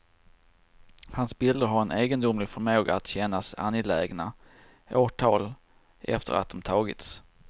Hans bilder har en egendomlig förmåga att kännas angelägna åratal efter att de har tagits.